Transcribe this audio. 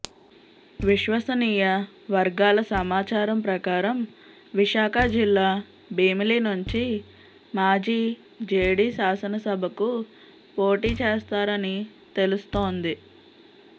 విశ్వసనీయ వర్గాల సమాచారం ప్రకారం విశాఖ జిల్లా భీమిలి నుంచి మాజీ జేడీ శాసనసభకు పోటీ చేస్తారని తెలుస్తోంది